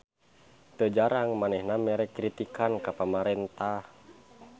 Teu jarang manehna mere kritikan ka pamarentah.